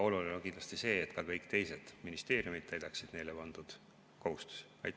Oluline on kindlasti see, et ka kõik teised ministeeriumid täidaksid neile pandud kohustusi.